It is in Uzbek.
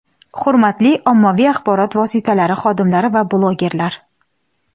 Hurmatli ommaviy axborot vositalari xodimlari va blogerlar!.